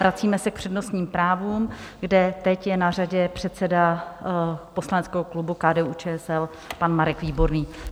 Vracíme se k přednostním právům, kde teď je na řadě předseda poslaneckého klubu KDU-ČSL pan Marek Výborný.